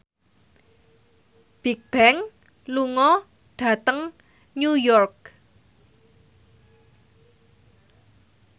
Bigbang lunga dhateng New York